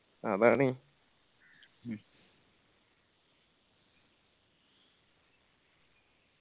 അതാണ്